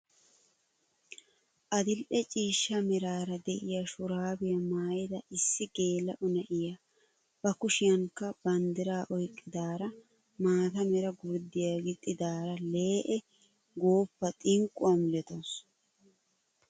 Adil'e ciishsha meraara de'iyaa shuraabiyaa maayida issi geela'o na'iyaa ba kushiyanikka banddiraa oyqqidaara maata mera gurddiyaa gixxidaara lee'e gooppa xinqquwaa milatawus!